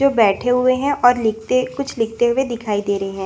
ये बैठे हुए है और लिखते कुछ लिखते हुए दिखाई दे रहे है।